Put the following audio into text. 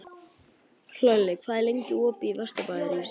Hlölli, hvað er lengi opið í Vesturbæjarís?